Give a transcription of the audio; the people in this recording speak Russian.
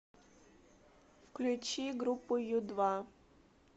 включи группу ю два